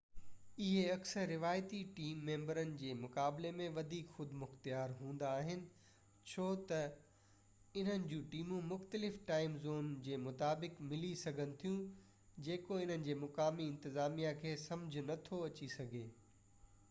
اهي اڪثر روايتي ٽيم ميمبرن جي مقابلي ۾ وڌيڪ خودمختيار هوندا آهن ڇو تہ انهن جون ٽيمون مختلف ٽائيم زون جي مطابق ملي سگهن ٿيون جيڪو انهن جي مقامي انتظاميا کي سمجهہ نٿو اڇي سگهي